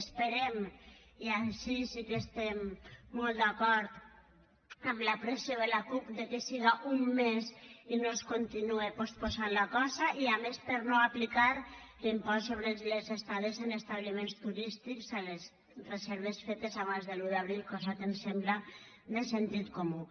esperem i ací sí que estem molt d’acord amb la pressió de la cup que siga un mes i no es continue posposant la cosa i a més per no aplicar l’impost sobre les estades en establiments turístics a les reserves fetes abans de l’un d’abril cosa que ens sembla de sentit comú